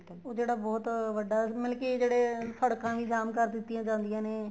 ਉਹ ਜਿਹੜਾ ਬਹੁਤ ਵੱਡਾ ਮਤਲਬ ਕੀ ਜਿਹੜੇ ਸੜਕਾ ਵੀ ਜਾਮ ਕਰ ਦਿੱਤੀਆਂ ਜਾਂਦੀਆਂ ਨੇ